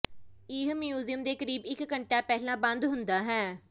ਇਹ ਮਿਊਜ਼ੀਅਮ ਦੇ ਕਰੀਬ ਇਕ ਘੰਟਾ ਪਹਿਲਾਂ ਬੰਦ ਹੁੰਦਾ ਹੈ